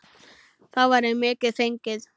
Þá væri mikið fengið.